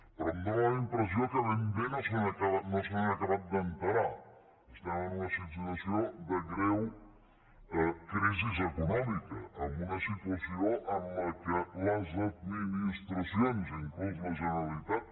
però em fa la impressió que ben bé no se n’han acabat d’assabentar som en una situació de greu crisi econòmica en una situació en la qual les administracions inclús la generalitat